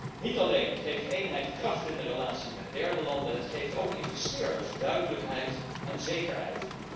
Eenheid geeft niet alleen kracht in de relatie met derde landen, eenheid geeft ook investeerders duidelijkheid en zekerheid.